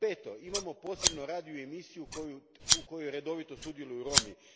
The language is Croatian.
Peto, imamo posebnu radio emisiju u kojoj redovito sudjeluju Romi.